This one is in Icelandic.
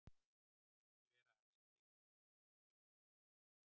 ekki vera að æsa þig svona upp. ég vil þetta ekki!